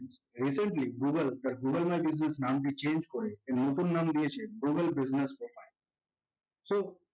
recently google তার google Ads দেয়া business নামটি change করে এর নতুন নাম দিয়েছে google business data so